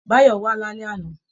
Báyọ̀ wà lálẹ́ àná